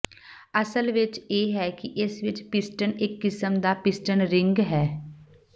ਅਸਲ ਵਿਚ ਇਹ ਹੈ ਕਿ ਇਸ ਵਿਚ ਪਿਸਟਨ ਇਕ ਕਿਸਮ ਦਾ ਪਿਸਟਨ ਰਿੰਗ ਹੈ